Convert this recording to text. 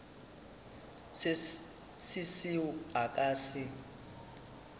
se seo a ka se